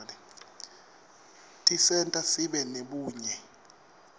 tisenta sibe nebunye